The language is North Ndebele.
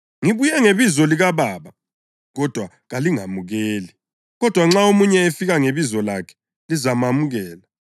Ngibuye ngebizo likaBaba kodwa kalingamukeli; kodwa nxa omunye efika ngebizo lakhe, lizamamukela.